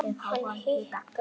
Hann hikar.